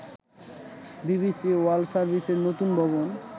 BBC world সার্ভিসের নতুন ভবন